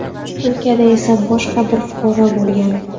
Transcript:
Turkiyada esa boshqa bir fuqaro bo‘lgan.